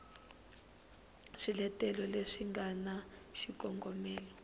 swiletelo leswi swi na xikongomelo